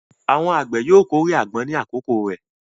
Àwọn àgbẹ̀ yóò kórè àgbọn ní àkókò rẹ̀.